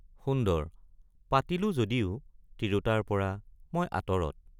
সুন্দৰ—পাতিলো যদিও তিৰোতাৰপৰা মই আঁতৰত।